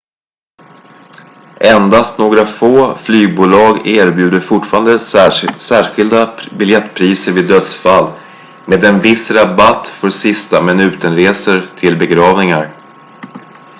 endast några få flygbolag erbjuder fortfarande särskilda biljettpriser vid dödsfall med en viss rabatt för sista minuten-resor till begravningar